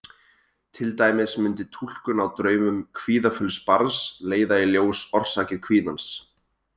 Til dæmis mundi túlkun á draumum kvíðafulls barns leiða í ljós orsakir kvíðans.